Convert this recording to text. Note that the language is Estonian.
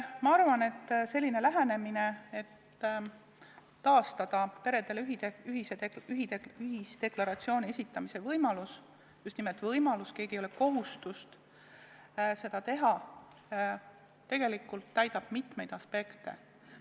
Ma arvan, et sellisel lähenemisel, et taastada peredel ühisdeklaratsiooni esitamise võimalus – just nimelt võimalus, kellelgi ei ole kohustust seda teha –, on tegelikult mitmeid aspekte.